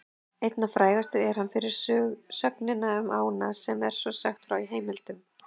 Einna frægastur er hann fyrir sögnina um ána sem svo er sagt frá í heimildum: